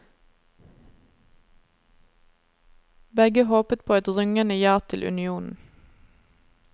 Begge håpet på et rungende ja til unionen.